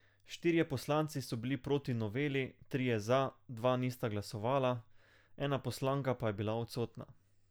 Štirje poslanci so bili proti noveli, trije za, dva nista glasovala, ena poslanka pa je bila odsotna.